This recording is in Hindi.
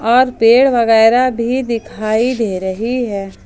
और पेड़ वगैरा भी दिखाई दे रही है।